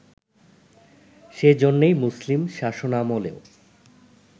সে জন্যেই মুসলিম শাসনামলেও